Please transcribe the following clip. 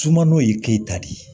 Sumano ye keyita de ye